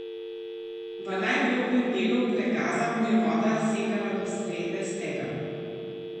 V najglobljem delu pregaza mu je voda segala do srede stegen.